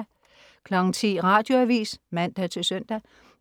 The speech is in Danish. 10.00 Radioavis (man-søn)